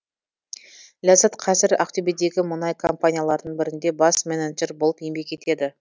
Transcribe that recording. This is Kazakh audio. ләззат қазір ақтөбедегі мұнай компанияларының бірінде бас менеджер болып еңбек етеді